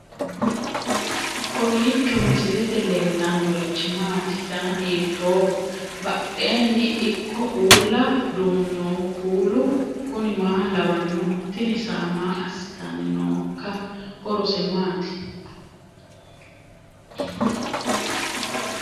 kowiicho misilete leellanorichi maati ? dana hiittooho ?badhhenni ikko uulla noohu kuulu kuni maa lawannoho? tini saa maa assitanni nooikka horose maati